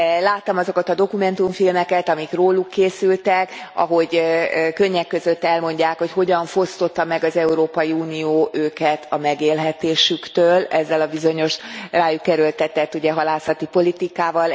Láttam azokat a dokumentumfilmeket, amik róluk készültek, ahogy könnyek között elmondják, hogy hogyan fosztotta meg az Európai Unió őket a megélhetésüktől ezzel a bizonyos rájuk erőltetett halászati politikával.